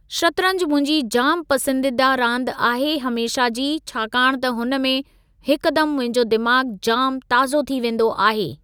शतरंज मुंहिंजी जाम पसंदीदा रांदि आहे हमेशह जी, छाकाणि त हुन में हिकुदम मुंहिंजो दिमाग़ु जाम ताज़ो थी वेंदो आहे।